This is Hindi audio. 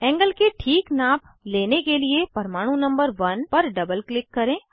एंगल की ठीक नाप लेने के लिए परमाणु नंबर 1 पर डबल क्लिक करें